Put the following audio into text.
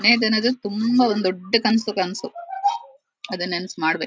ಏನದು ತುಂಬ ಒಂದು ದೊಡ್ಡ್ ಕನಸು ಕ ನಸು ಅದನ್ನ ನನಸು ಮಾಡಬೇ --